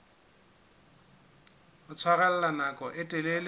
ho tshwarella nako e telele